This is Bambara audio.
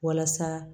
Walasa